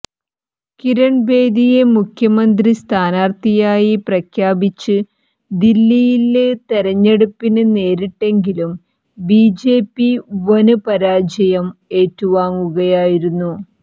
കിരണ് ബേദിയെ മുഖ്യമന്ത്രി സ്ഥാനാര്ത്ഥിയായി പ്രഖ്യാപിച്ച് ദില്ലിയില് തെരഞ്ഞെടുപ്പിന് നേരിട്ടെങ്കിലും ബി ജെ പി വന് പരാജയം ഏറ്റുവാങ്ങിയിരുന്നു